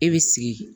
E bi sigi